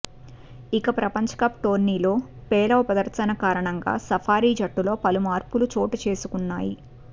ఇక ప్రపంచ కప్ టోర్నీలో పేలవ ప్రదర్శన కారణంగా సఫారీ జట్టులో పలు మార్పులు చోటుచేసుకున్నాయి